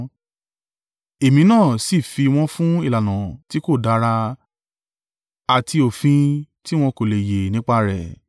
Èmi náà sì fi wọn fún ìlànà tí kò dára àti òfin tí wọn kò le e yè nípa rẹ̀;